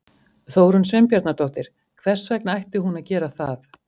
Þórunn Sveinbjarnardóttir: Hvers vegna ætti hún að gera það?